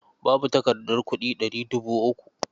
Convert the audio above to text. Babu takardar kuɗi ɗari dubu uku.